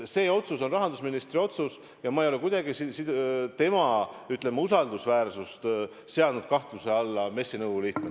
See otsus on rahandusministri otsus ja ma ei ole kuidagi, ütleme, tema usaldusväärsust seadnud kahtluse alla MES-i nõukogu liikmena.